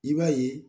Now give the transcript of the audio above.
I b'a ye